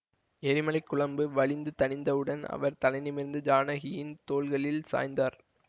எரிமலை குழம்பு வழிந்து தணிந்தவுடன் அவர் தலைநிமிர்ந்து ஜானகியின் தோள்களில் சாய்ந்தார்